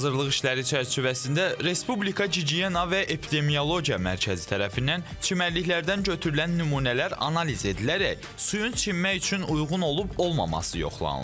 Hazırlıq işləri çərçivəsində Respublika gigiyena və epidemiologiya mərkəzi tərəfindən çimərliklərdən götürülən nümunələr analiz edilərək suyun çimmək üçün uyğun olub-olmaması yoxlanılır.